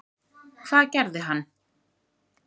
Hvað gerði hann?